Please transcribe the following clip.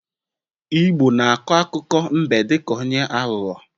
Igbo na akọ akụkọ mbe dị ka onye aghọghọ